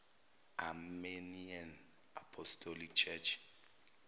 armenian apostolic church